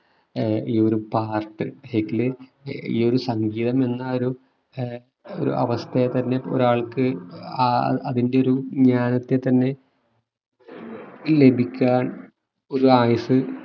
ഏർ ഈ ഒരു part ഇതില് ഈ ഒരു സംഗീതം എന്ന ആ ഒരു ആഹ് ഒരു അവസ്ഥയെ തന്നെ ഒരാൾക്കു ആഹ് അതിന്റെ ഒരു ജ്ഞാനത്തെ തന്നെ ലഭിക്കാൻ ഒരു ആയുസ്സ്